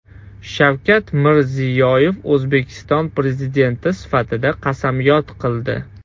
Shavkat Mirziyoyev O‘zbekiston Prezidenti sifatida qasamyod qildi.